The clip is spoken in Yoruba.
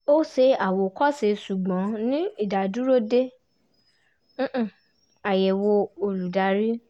ó ṣe àwòkọ́ṣe ṣùgbọ́n ní ìdádúró dé ayẹ̀wò olùdarí